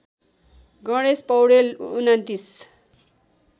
Ganesh Paudel २९